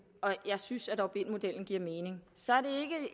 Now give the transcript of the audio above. og jeg synes at opt in modellen giver mening